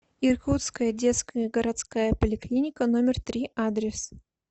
иркутская детская городская поликлиника номер три адрес